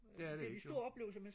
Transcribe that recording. det er det ikke jo